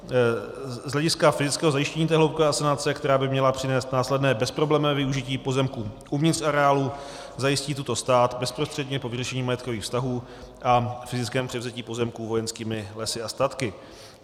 Z hlediska fyzického zajištění té hloubkové asanace, která by měla přinést následné bezproblémové využití pozemků uvnitř areálu, zajistí toto stát bezprostředně po vyřešení majetkových vztahů a fyzickém převzetí pozemků Vojenskými lesy a statky.